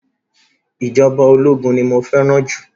Ìjọba ológun ni mo fẹ́ràn jù.